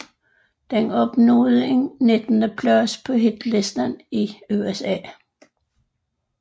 Den opnåede en nittendeplads på hitlisten i USA